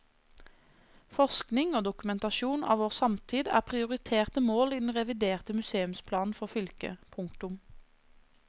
Forskning og dokumentasjon av vår samtid er prioriterte mål i den reviderte museumsplanen for fylket. punktum